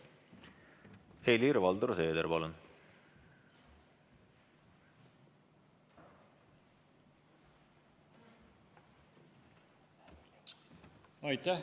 Helir-Valdor Seeder, palun!